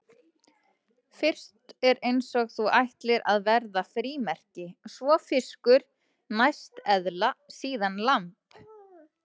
Fyrst er eins og þú ætlir að verða frímerki, svo fiskur, næst eðla, síðast lamb.